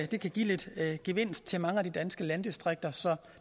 det kan give lidt gevinst til mange af de danske landdistrikter så